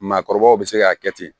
Maakɔrɔbaw be se k'a kɛ ten